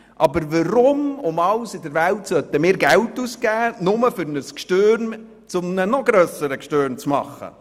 Aber warum sollen wir Geld ausgeben, nur um ein «Gschtürm» zu einem noch grösseren «Gschtürm» zu machen?